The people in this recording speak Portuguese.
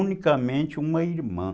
Unicamente uma irmã.